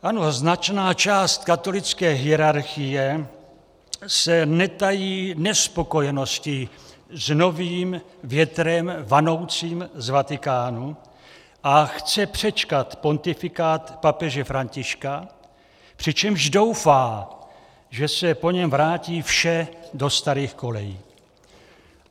Ano, značná část katolické hierarchie se netají nespokojeností s novým větrem vanoucím z Vatikánu a chce přečkat pontifikát papeže Františka, přičemž doufá, že se po něm vrátí vše do starých kolejí.